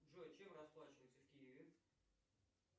джой чем расплачиваются в киеве